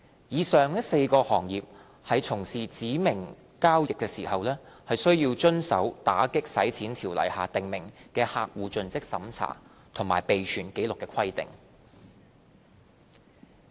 以上4個行業在從事指明交易時，須遵守《條例》下訂明就客戶作盡職審查及備存紀錄的規定。